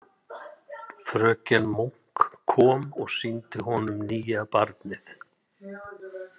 Fröken Munk kom og sýndi honum nýja barnið.